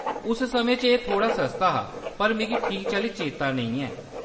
उस समें च एह्‌‌ थोह्‌ड़ा सस्ता हा, पर मिगी ठीक चाल्ली चेता नेईं ऐ।